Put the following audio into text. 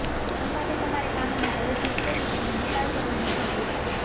આ માટે તમારે કામોને આયોજિત કરી તેનો નિકાલ કરવાની જરૂર છે